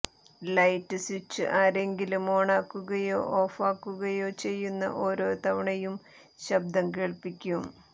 light switch ആരെങ്കിലും ഓണാക്കുകയോ ഓഫാക്കുകയോ ചെയ്യുന്ന ഓരോ തവണയും ശബ്ദം കേൾപ്പിക്കും